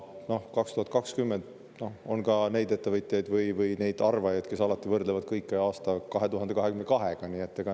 Noh, 2020 – on ka neid ettevõtjaid või arvajaid, kes alati võrdlevad kõike aastaga 2022.